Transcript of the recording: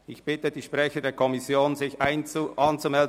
Ich bitte die Sprecher, sich bereitzuhalten.